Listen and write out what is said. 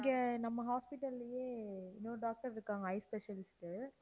இங்க நம்ம hospital லயே இன்னொரு doctor இருக்காங்க eye specialist உ